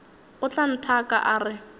o tla nthaka a re